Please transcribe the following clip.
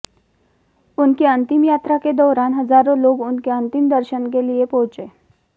उनकी अंतिम यात्रा के दौरान हजारों लोग उनके अंतिम दर्शन के लिए पहुंचे